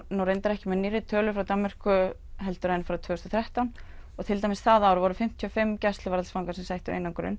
ekki með nýrri tölur frá Danmörku en frá tvö þúsund og þrettán og til dæmis það ár voru fimmtíu og fimm gæsluvarðhaldsfangar sem sættu einangrun